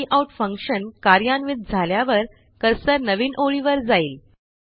cout function कार्यान्वित झाल्यावर cursor नवीन ओळीवर जाईल